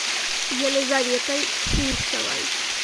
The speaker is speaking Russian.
елизаветой фурсовой